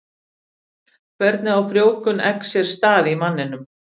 Hvernig á frjóvgun eggs sér stað í manninum?